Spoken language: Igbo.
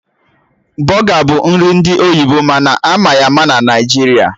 Bọga bụ nri ndị oyibo mana ama ya ama na Naijiria